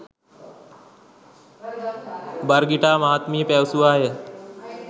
Birgitta මහත්මිය පැවසුවාය.